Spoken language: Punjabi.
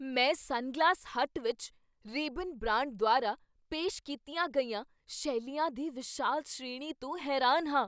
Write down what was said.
ਮੈਂ ਸਨਗਲਾਸ ਹੱਟ ਵਿੱਚ ਰੇਬਨ ਬ੍ਰਾਂਡ ਦੁਆਰਾ ਪੇਸ਼ ਕੀਤੀਆਂ ਗਈਆਂ ਸ਼ੈਲੀਆਂ ਦੀ ਵਿਸ਼ਾਲ ਸ਼੍ਰੇਣੀ ਤੋਂ ਹੈਰਾਨ ਹਾਂ।